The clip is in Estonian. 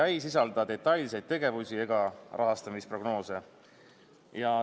See ei sisalda detailseid tegevusi ega rahastamisprognoose.